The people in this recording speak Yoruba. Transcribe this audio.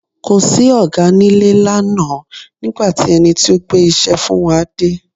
Kò sí Ọ̀gá nílé lánàá nígbà tí ẹni tí ó gbé iṣẹ́ fún wa dé.